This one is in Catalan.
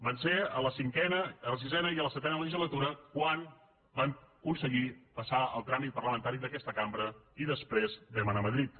va ser a la cinquena a la sisena i a la setena legislatura quan vam aconseguir passar el tràmit parlamentari d’aquesta cambra i després vam anar a madrid